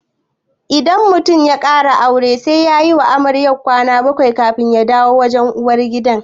Idan mutum ya ƙara aure sai yayi wa amarya kwana bakwai kafin ya dawo wajen uwar gida